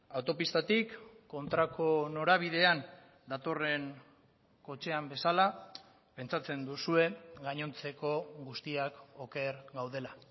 autopistatik kontrako norabidean datorren kotxean bezala pentsatzen duzue gainontzeko guztiak oker gaudela